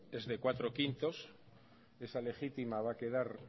es de cuatro barra cinco esa legítima va a quedar